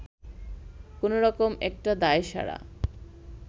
কোনো রকম একটা দায়সারা